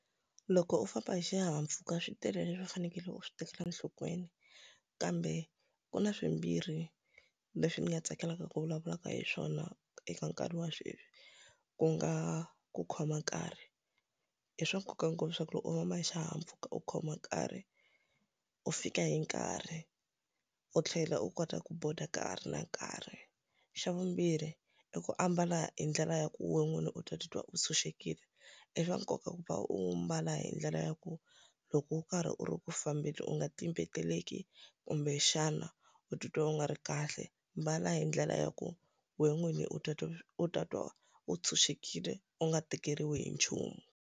Loko u famba hi xihahampfhuka swi tele leswi u fanekele u swi tekela enhlokweni, kambe ku na swimbirhi leswi ni nga tsakelaka ku vulavulaka hi swona eka nkarhi wa sweswi. Ku nga ku khoma nkarhi. I swa nkoka ngopfu leswaku loko u famba hi xihahampfhuka u khoma nkarhi, u fika hi nkarhi, u tlhela u kota ku border ka ha ri na nkarhi. Xa vumbirhi, i ku ambala hi ndlela ya ku wena n'wini u ta titwa u tshunxekile. I swa nkoka ku va u mbala hi ndlela ya ku loko u karhi u ri ku fambeni u nga ta tlimbeteleki, kumbexana u titwa u nga ri kahle. Mbala hi ndlela ya ku wena n'wini u u ta twa u tshunxekile u nga tikeriwi hi nchumu.